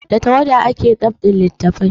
Da tawada ake dab'in littafai